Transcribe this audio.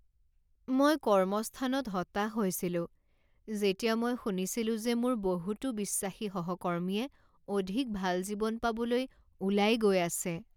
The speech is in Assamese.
মই কৰ্মস্থানত হতাশ হৈছিলো যেতিয়া মই শুনিছিলোঁ যে মোৰ বহুতো বিশ্বাসী সহকৰ্মীয়ে অধিক ভাল জীৱন পাবলৈ ওলাই গৈ আছে।